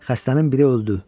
Xəstənin biri öldü.